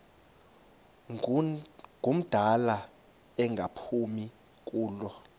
ngumdala engaphumi kulo